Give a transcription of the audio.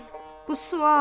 Bu sual!